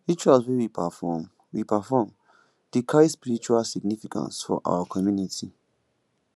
rituals wey we perform we perform dey carry spiritual significance for our community